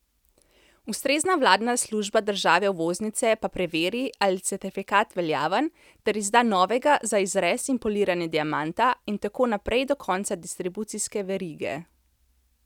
Ustrezna vladna služba države uvoznice pa preveri, ali je certifikat veljaven, ter izda novega za razrez in poliranje diamanta in tako naprej do konca distribucijske verige.